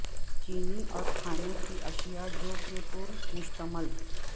چینی اور کھانے کی اشیاء جو کہ پر مشتمل